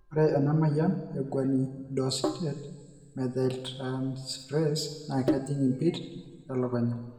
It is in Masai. ore ena moyian e Guanidinoacetate methyltransferase naa kejing impit we lukunya